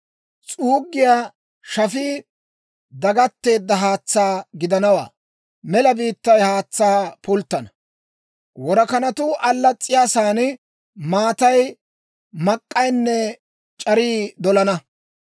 S'uuggiyaa shafii dagatteedda haatsaa gidanawaa; mela biittay haatsaa pulttana; worakanatuu allas's'iyaasan maatay mak'k'aynne c'arii dolana.